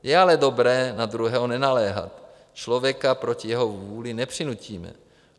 Je ale dobré na druhého nenaléhat, člověka proti jeho vůli nepřinutíme.